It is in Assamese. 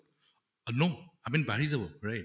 no, i mean বাঢ়ি যাব right